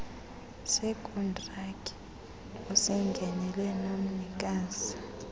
sekhontrakthi osingenele nomnikazi